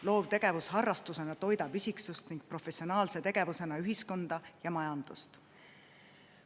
Loovtegevus harrastusena toidab isiksust ning professionaalse tegevusena ühiskonda ja majandust.